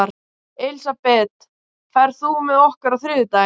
Elisabeth, ferð þú með okkur á þriðjudaginn?